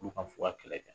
Olu ka fuka kɛlɛ kɛ